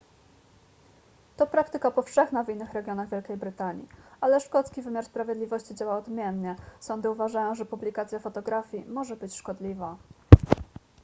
to praktyka powszechna w innych regionach wielkiej brytanii ale szkocki wymiar sprawiedliwości działa odmiennie sądy uważają że publikacja fotografii może być szkodliwa